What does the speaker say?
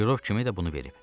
Görov kimi də bunu verib.